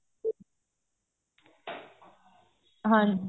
ਹਾਂਜੀ